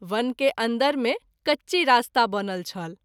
वन के अन्दर मे कच्ची रास्ता बनल छल।